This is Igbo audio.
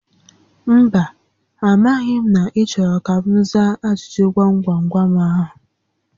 Mba, a maghị m na ị chọrọ ka m za ajụjụ gwam gwam gwam ahụ